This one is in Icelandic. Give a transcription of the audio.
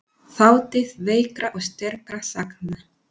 Þátíð veikra og sterkra sagna.